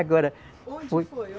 Agora. Onde foi o?